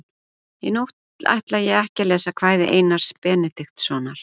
Í nótt ætla ég ekki að lesa kvæði Einars Benediktssonar.